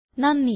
നന്ദി